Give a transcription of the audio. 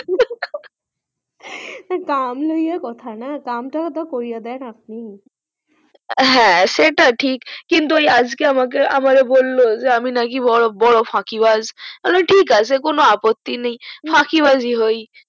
দাম লইয়া কথা না দাম তা তো কোরিয়া দেন আপানি হুম সেটা ঠিক কিন্তু ওই আজকে আমাকে বললো যে আমি নাকি বড় বড় ফাঁকিবাজ আমি বললাম ঠিক আছে কোনো অপ্পত্তি নাই ফাঁকিবাজ ই হয়